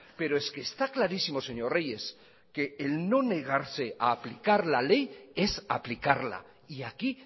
pero es que está clarísimo señor reyes que el no negarse a aplicar la ley es aplicarla y aquí